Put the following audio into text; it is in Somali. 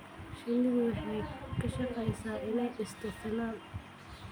Shinnidu waxay ka shaqeysaa inay dhisto finan.